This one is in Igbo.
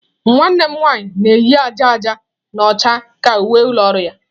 Nwanne m nwanyị na-eyi aja aja na ọcha ka uwe ụlọ ọrụ ya.